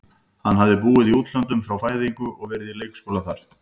Hann hafði búið í útlöndum frá fæðingu og verið á leikskóla þar.